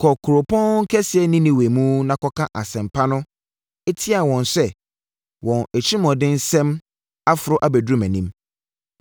“Kɔ kuropɔn kɛseɛ Ninewe mu na kɔka asɛmpa no tia wɔn sɛ wɔn atirimuɔdensɛm aforo abɛduru mʼanim.”